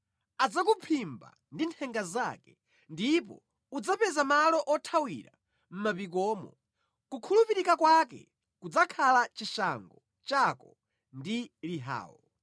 Adzakuphimba ndi nthenga zake, ndipo udzapeza malo othawira mʼmapikomo; kukhulupirika kwake kudzakhala chishango chako ndi lihawo.